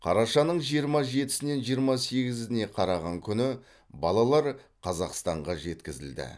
қарашаның жиырма жетісінен жиырма сегізіне қараған күні балалар қазақстанға жеткізілді